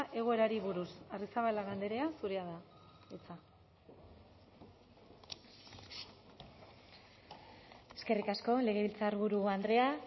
egoerari buruz arrizabalaga andrea zurea da hitza eskerrik asko legebiltzarburu andrea